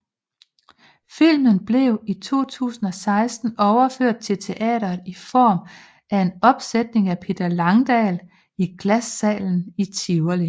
Filmen blev i 2016 overført til teatret i form af en opsætning af Peter Langdal i Glassalen i Tivoli